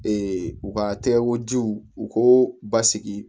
u ka tɛgɛko jiw u k'o basigi